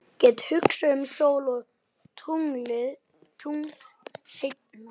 Get hugsað um sól og tungl seinna.